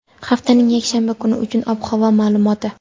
haftaning yakshanba kuni uchun ob-havo ma’lumoti.